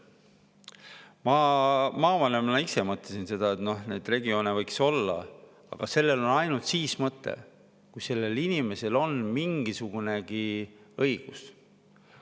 Ma ise maavanemana mõtlesin seda, et need regioonid võiksid olla, aga sellel on ainult siis mõte, kui sellel on mingisugunegi õigus.